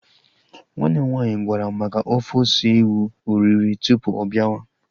Nwanne m nwaanyị gwara m maka ofe ose ewu oriri tụpụ ọ biawa